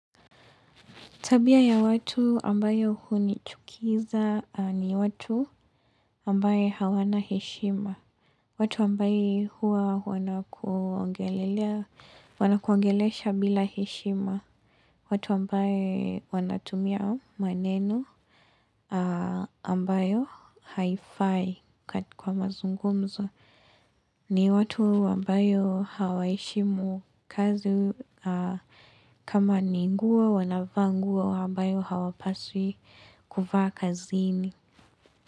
Tabia ya watu ambayo hunichukiza ni watu ambao hawana heshima. Watu ambao hua wanakuongelelea, wanakuongelesha bila heshima. Watu ambao wanatumia maneno ambayo hayafai kwa mazungumzo. Ni watu wambao hawaishimu kazi kama ni nguo wanavaa nguo ambayo hawapaswi kuvaa kazini.